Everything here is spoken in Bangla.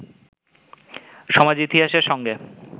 সমাজ-ইতিহাসের সঙ্গে